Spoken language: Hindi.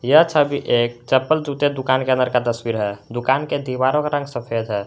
यह छवि एक चप्पल जूते दुकान के अंदर का तस्वीर है दुकान के दीवारों का रंग सफेद है।